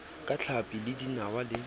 ka tlhapi le dinawa le